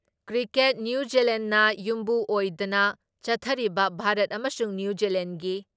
cricket ꯅ꯭ꯌꯨꯖꯤꯂꯦꯟꯗꯅ ꯌꯨꯝꯕꯨ ꯑꯣꯏꯗꯅ ꯆꯠꯊꯔꯤꯕ ꯚꯥꯔꯠ ꯑꯃꯁꯨꯡ ꯅ꯭ꯌꯨꯖꯤꯂꯦꯟꯗꯒꯤ